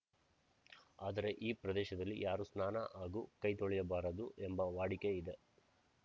ಆದರೆ ಈ ಪ್ರದೇಶದಲ್ಲಿ ಯಾರೂ ಸ್ನಾನ ಹಾಗೂ ಕೈ ತೊಳೆಯಬಾರದು ಎಂಬ ವಾಡಿಕೆ ಇದೆ